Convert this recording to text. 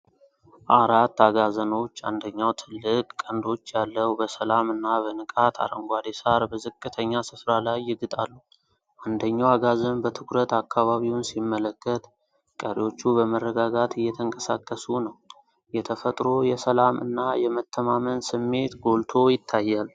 አራት አጋዘኖች፣ አንደኛው ትልቅ ቀንዶች ያለው፣ በሰላም እና በንቃት አረንጓዴ ሣር በዝቅተኛ ስፍራ ላይ ይግጣሉ። አንደኛው አጋዘን በትኩረት አካባቢውን ሲመለከት፤ ቀሪዎቹ በመረጋጋት እየተንቀሳቀሱ ነው። የተፈጥሮ የሰላም እና የመተማመን ስሜት ጎልቶ ይታያል።